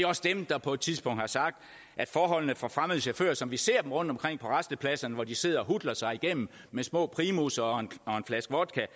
også dem der på et tidspunkt har sagt at forholdene for fremmede chauffører som vi ser dem rundtomkring på rastepladserne hvor de sidder og hutler sig igennem med små primusser og en flaske vodka